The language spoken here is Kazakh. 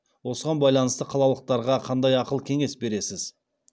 осыған байланысты қалалықтарға қандай ақыл кеңес бересіз